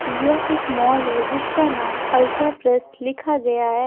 यह एक मॉल है जिसका नाम अल्ट्रा प्रेस लिखा गया है ।